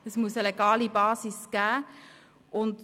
es muss eine legale Basis geben.